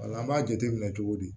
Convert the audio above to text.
Wala an b'a jateminɛ cogo di